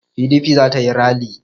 PDP za ta yi ralli.